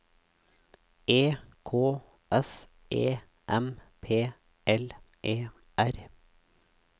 E K S E M P L E R